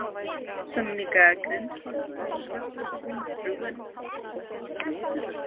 Svona líka grindhoraður, rúinn og kollóttur.